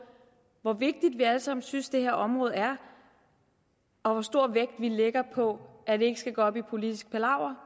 hvor vigtigt vi alle sammen synes det her område er og hvor stor vægt vi lægger på at det ikke skal gå op i politisk palaver